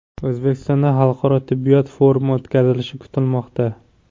O‘zbekistonda xalqaro tibbiyot forumi o‘tkazilishi kutilmoqda.